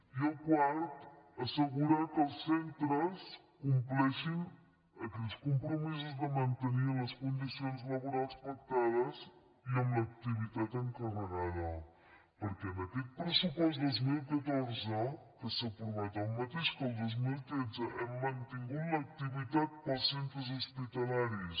i el quart assegurar que els centres compleixin aquells compromisos de mantenir les condicions laborals pactades i amb l’activitat encarregada perquè en aquest pressupost dos mil catorze que s’ha aprovat el mateix que el dos mil tretze hem mantingut l’activitat per als centres hospitalaris